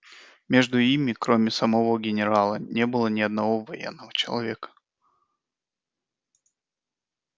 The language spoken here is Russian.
между ими кроме самого генерала не было ни одного военного человека